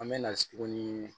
An bɛ na tuguni